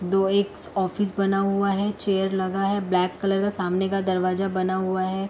दो एक ऑफिस बना हुआ है। चेयर लगा है। ब्लैक कलर का सामने का दरवाजा बना हुआ है।